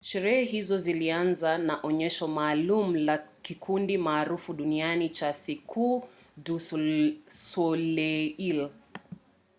sherehe hizo zilianza na onyesho maalum la kikundi maarufu duniani cha cirque du soleil